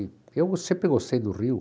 Eu sempre gostei do Rio.